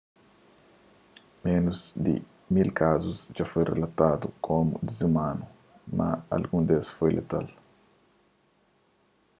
menus di ki mil kazus dja foi relatadu komu dizumanu mas algun des foi fatal